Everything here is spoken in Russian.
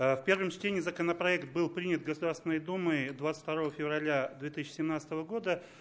первом чтении законопроект был принят государственной думой двадцать второго февраля две тысячи семнадцатого года